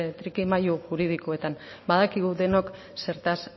trikimailu juridikoetan badakigu denok zertaz